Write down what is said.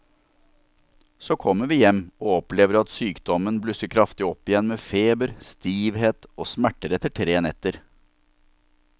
Så kommer vi hjem og opplever at sykdommen blusser kraftig opp igjen med feber, stivhet og smerter etter tre netter.